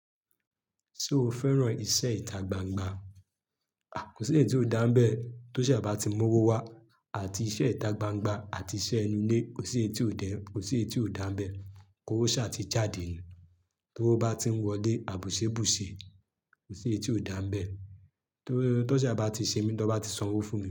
Ṣé o fẹ́ràn iṣẹ́ ìta gbangba? Kò sí etí ò dáńbẹ̀ tó ṣà bá ti mówó wá àti iṣẹ́ ìta gbangba àti iṣẹ́ inú ilé, kò sí etí ò dáńbẹ̀ kó ṣà ti jáde ni. Towo bá ti ń wọlé àbùsé bùsè, kò sí eyi tí ò dáa n bẹ̀. Tó ṣà bá ti ṣe mí, tó bá ti sanwó fún mi.